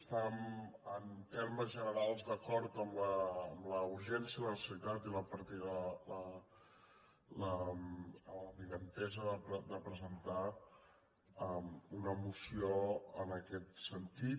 estem en termes generals d’acord amb la urgència i la necessitat i amb l’avinentesa de presentar una moció en aquest sentit